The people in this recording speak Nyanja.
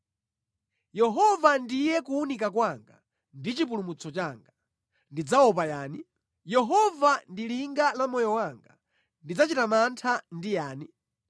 Yehova ndiye kuwunika kwanga ndi chipulumutso changa; ndidzaopa yani? Yehova ndi linga la moyo wanga; ndidzachita mantha ndi yani?